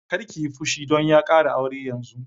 Kar ki yi fushi don ya ƙara aure yanzun!